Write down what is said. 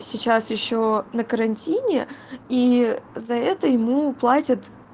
сейчас ещё на карантине и за это ему платят